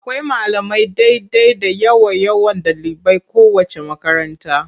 Akwai malamai daidai da yawan yawan ɗaliban kowaceec makaranta.